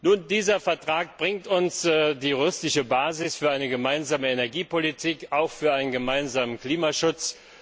Nun, dieser Vertrag bringt uns die Rechtsgrundlage für eine gemeinsame Energiepolitik und für einen gemeinsamen Klimaschutz.